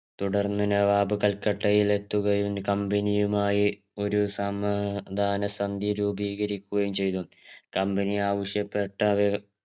തുടർന്ന് നവാബ് കൽക്കട്ടയിലെത്തുകയും company യുമായി ഒരു സമാധാന സന്ധി രൂപീകരിക്കുകയും ചെയ്തു company ആവശ്യപെട്ട വേവ